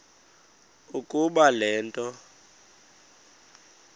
ukuba le nto